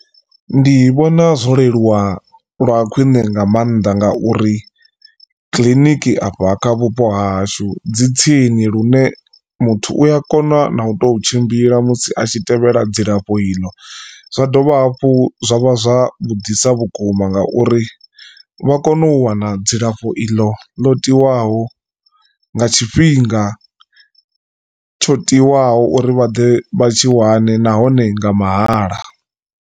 Ndi vhona zwo leluwa lwa khwiṋe nga maanḓa ngauri kiḽiniki afha kha vhupo hashu dzi tsini lune muthu uya kona na u to tshimbila musi a tshi tevhela dzilafho iḽo. Zwa dovha hafhu zwa vha zwa vhudisa vhukuma nga uri vha kone u wana dzilafho iḽo ḽo tiwaho nga tshifhinga tsho tiwaho uri vha ḓe vha tshi wane nahone nga mahala.